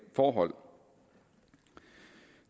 forhold